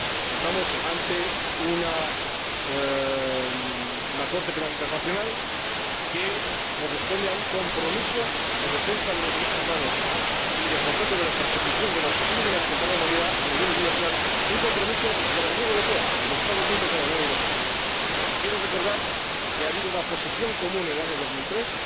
Estamos ante una Corte Penal Internacional que corresponde a un compromiso de defensa de los derechos humanos y, por tanto, de persecución de los crímenes contra la humanidad a nivel universal, un compromiso de la Unión Europea, de los Estados miembros de la Unión Europea. Y quiero recordar que hubo una posición común en el año 2003,